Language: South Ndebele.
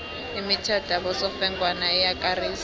imithetho yabosofengwana iyakarisa